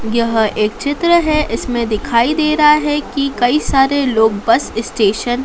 यह एक चित्र है इसमें दिखाई दे रहा हैं कि कई सारे लोग बस स्टेशन --